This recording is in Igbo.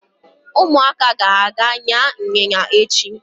Ụmụaka ga-aga ịnya ịnyịnya echi.